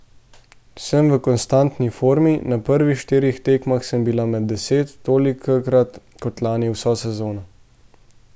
Sem v konstantni formi, na prvih štirih tekmah sem bila med deset, tolikokrat kot lani vso sezono.